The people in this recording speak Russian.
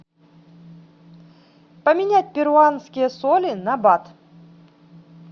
поменять перуанские соли на бат